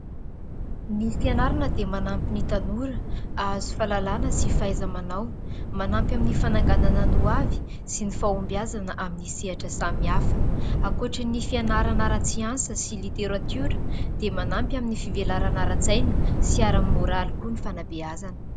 Ny fianarana dia manampy ny tanora hahazo fahalalana sy fahaiza-manao, manampy amin'ny fananganana ny ho avy sy ny fahombiazana amin'ny sehatra samihafa. Ankoatra ny fianarana ara-tsiansa sy literatiora, dia manampy amin'ny fivelarana ara-tsaina sy ara-môraly koa ny fanabeazana.